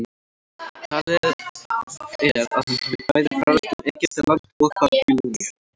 talið er að hann hafi bæði ferðast um egyptaland og babýloníu